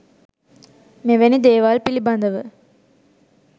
මෙවැනි දේවල් පිළිබඳව